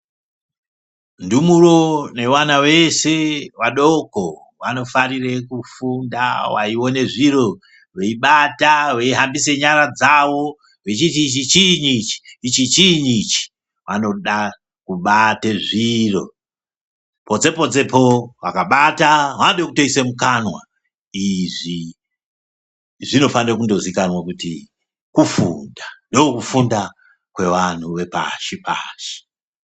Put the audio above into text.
Ndumuro vevana veshe vadoko vanofarire kufunda veione zviro veibata veihambise nyara dzawo vechiti ichi chiinyi ichi ichi chiinyi ichi vanoda kubate zviro potse potsepo vakabata vanode kutoise mukanwa izvi zvinofane kundozikanwa kuti kufunda ndokufunda kwevanhu zvepashi pashi.